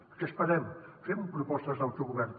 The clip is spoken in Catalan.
a què esperem fem propostes d’autogovern